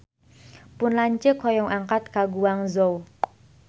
Pun lanceuk hoyong angkat ka Guangzhou